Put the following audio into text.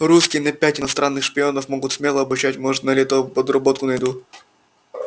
русский на пять иностранных шпионов могу смело обучать может на лето подработку найду